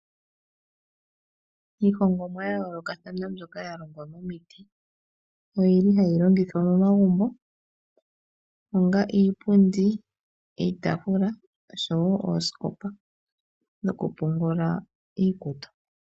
Iihongomwa ya yoolokathana mbyoka ya longwa momiti, oyili hayi longithwa momagumbo. Onga iipundi, iitafula oshowo oosikopa dhokupungula iikutu.